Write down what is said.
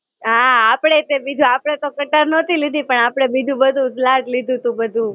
હાં, આપડે તે બીજું આપડે તો કટાર નહોતી લીધી, પણ આપડે બીજું બધું લાગ લીધું તું બધું.